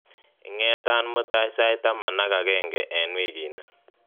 ingetan mutai sait taman ak agenge en wikini